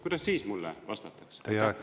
Kuidas siis mulle vastatakse?